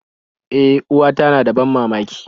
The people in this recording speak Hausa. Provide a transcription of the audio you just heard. E, uwata na da ban mamaki